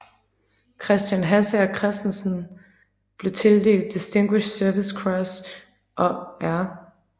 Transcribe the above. Christian Hassager Christiansen blev tildelt Distinguished Service Cross og R